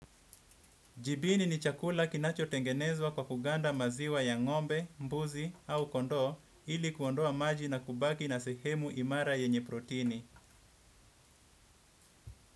Jibini ni chakula kinachotengenezwa kwa kuganda maziwa ya ng'ombe, mbuzi au kondoo ili kuondoa maji na kubaki na sehemu imara yenye protini.